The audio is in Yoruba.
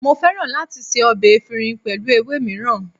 Mo fẹ́ràn láti ṣe ọbẹ̀ efinrin pẹ̀lú ewé mìíràn.